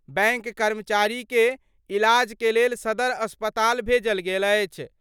Bank कर्मचारी के इलाज के लेल सदर अस्पताल भेजल गेल अछि।